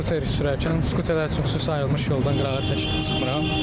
Skuter sürərkən, skuterlər üçün xüsusi ayrılmış yoldan qırağa çəkilib çıxmıram.